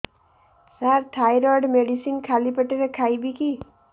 ସାର thyroid medicine ଖାଲି ପେଟରେ ଖାଇବି କି